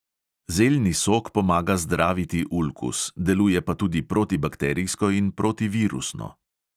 Zeljni sok pomaga zdraviti ulkus, deluje pa tudi protibakterijsko in protivirusno.